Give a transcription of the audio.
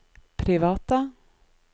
private